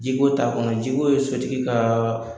Jiko t'a kɔnɔ jiko ye sotigi kaa